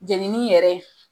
Jenini yɛrɛ